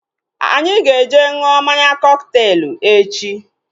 Anyị ga eje ṅụọ mmanya kọkteelu echi